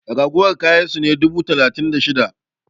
ragowar kayan su ne dubu biyu da talatin da shida!